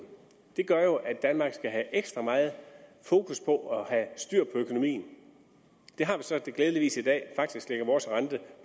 det gør jo at danmark skal have ekstra meget fokus på at have styr på økonomien det har vi så glædeligvis i dag faktisk ligger vores rente